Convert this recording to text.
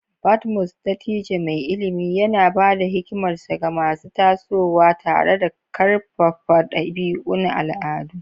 Badmus, dattijo mai ilimi, yana ba da hikimarsa ga masu tasowa tare da karfafa dabi'un al'adu.